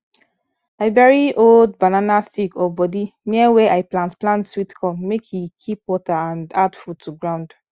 i bury old banana stick or body near where i plant plant sweet corn make e keep water and add food to ground